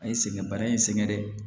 A ye sɛgɛn baara in sɛgɛn dɛ